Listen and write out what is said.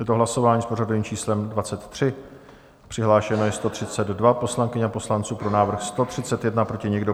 Je to hlasování s pořadovým číslem 23, přihlášeno je 132 poslankyň a poslanců, pro návrh 131, proti nikdo.